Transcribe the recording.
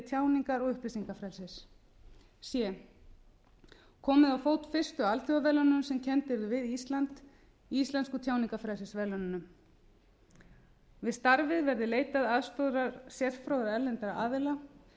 tjáningar og upplýsingafrelsis c komið á fót fyrstu alþjóðaverðlaununum sem kennd yrðu við ísland íslensku tjáningarfrelsisverðlaununum við starfið verði leitað aðstoðar sérfróðra erlendra aðila markmiðið